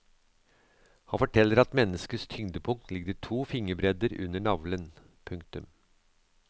Han forteller at menneskets tyngdepunkt ligger to fingerbredder under navlen. punktum